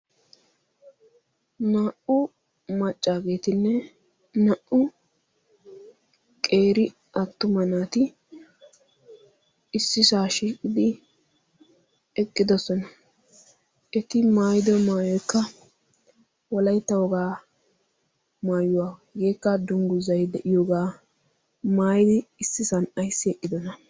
naa"u maccaageetinne naa"u qeeri attuma naati issisaa shiiqidi eqqidosona eti maayido maayoykka wolayttaogaa maayuwaahegeekka dungguzay de'iyoogaa maayidi issisan ayssi eqqidoona